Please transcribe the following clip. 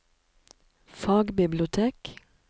fagbibliotek